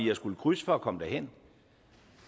har skullet krydse for at komme derhen